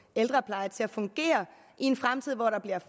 ældrepleje til at fungere i en fremtid hvor der bliver